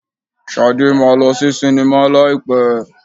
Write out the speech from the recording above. Shade máa lọ sí sinimá láì pẹ́.